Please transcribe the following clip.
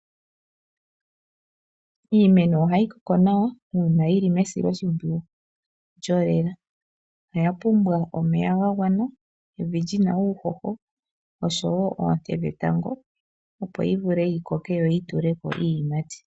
Iimeno ohayi koko nawa uuna yili mesiloshipwiyu lyolela. Oya pumbwa omeya gagwana, evi lina uuhoho oshowo oonte dhetango opo yivule yikoke yituleko iiyimati.